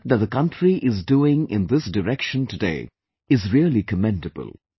The work that the country is doing in this direction today is really commendable